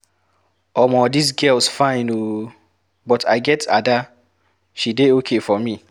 Omo dis girls fine ooo, but I get Ada, she dey okay for me.